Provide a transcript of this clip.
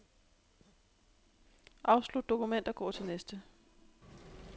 Afslut dokument og gå til næste.